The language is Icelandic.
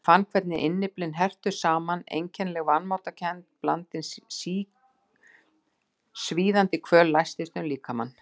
Ég fann hvernig innyflin herptust saman og einkennileg vanmáttarkennd blandin svíðandi kvöl læstist um líkamann.